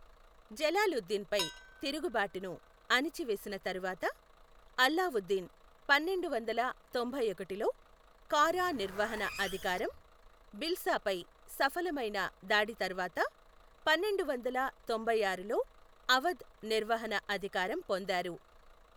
జలాలుద్దీన్పై తిరుగు బాటును అణచి వేసిన తరువాత, అల్లావుద్దీన్ పన్నెండు వందల తొంభై ఒకటిలో కారా నిర్వహణ అధికారం, భిల్సా పై సఫలమైన దాడి తర్వాత, పన్నెండు వందల తొంభై ఆరులో అవధ్ నిర్వహణ అధికారం పొందారు .